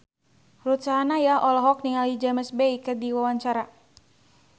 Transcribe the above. Ruth Sahanaya olohok ningali James Bay keur diwawancara